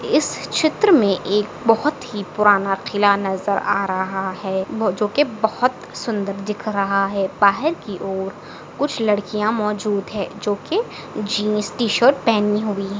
इस चित्र मे एक बहुत ही पुराना किला नजर आ रहा है वो जो की बहुत सुंदर दिख रहा है बाहर की और कुछ लड्कीया मौजूद है जो की जिन्स टी शर्ट पहनी हुई--